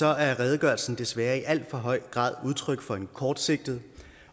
er redegørelsen desværre i alt for høj grad udtryk for en kortsigtet